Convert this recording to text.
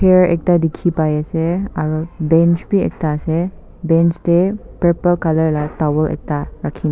air ekta dikhi pai ase aru bench bi ekta ase bench te purple colour la towel ekta rakhi na.